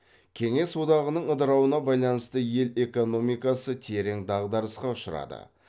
кеңес одағының ыдырауына байланысты ел экономикасы терең дағдарысқа ұшырады